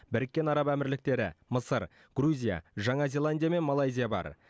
біріккен араб әмірліктері мысыр грузия жаңа зеландия мен малайзия бар